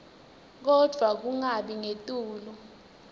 kodvwa kungabi ngetulu